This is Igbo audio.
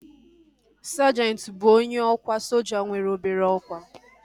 Sajenti bụ onye ọkwa soja nwere obere ọkwá